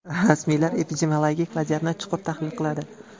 Rasmiylar epidemiologik vaziyatni chuqur tahlil qiladi.